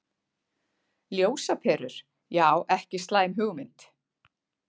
Ljósaperur, já ekki slæm hugmynd.